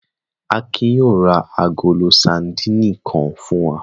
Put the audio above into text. Akin yóò ra agolo sadínì kan fún wa.